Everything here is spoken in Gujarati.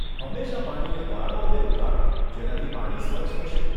હંમેશા પાણીને ગાળો અને ઉકાળો, જેનાથી પાણી સ્વચ્છ થશે.